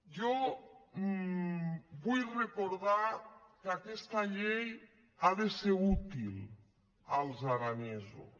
jo vull recordar que aquesta llei ha de ser útil als ara·nesos